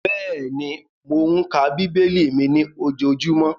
Bẹ́ẹ̀ni, mò ń ka bíbélì mi ní ojojúmọ́